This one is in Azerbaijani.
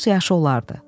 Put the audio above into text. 30 yaşı olardı.